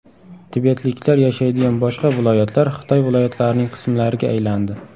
Tibetliklar yashaydigan boshqa viloyatlar Xitoy viloyatlarining qismlariga aylandi.